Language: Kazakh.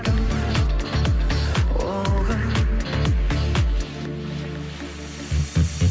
кім ол кім